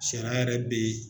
Sariya yɛrɛ bɛ ye